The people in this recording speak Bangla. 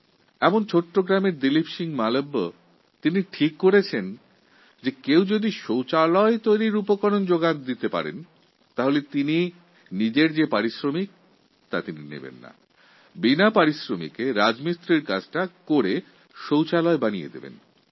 একটা ছোটো গ্রামের বাসিন্দা দিলীপ সিংহ মালভিয়া স্থির করলেন যে গ্রামের কেউ যদি শৌচালয় তৈরির জন্য প্রয়োজনীয় উপকরণ জোগাড় করে দেয় তবে উনি বিনা পারিশ্রমিকে শৌচালয় তৈরি করে দেবেন